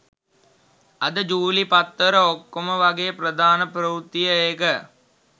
අද ජූලි පත්තර ඔක්කොම වගේ ප්‍රධාන ප්‍රවෘත්තිය ඒක